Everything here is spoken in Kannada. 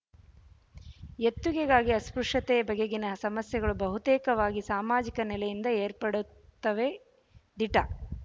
ಎತ್ತುಗೆಗಾಗಿ ಅಸ್ಪೃಶ್ಯತೆಯ ಬಗೆಗಿನ ಸಮಸ್ಯೆಗಳು ಬಹುತೇಕವಾಗಿ ಸಾಮಾಜಿಕ ನೆಲೆಯಿಂದ ಏರ್ಪಡುತ್ತವೆ ದಿಟ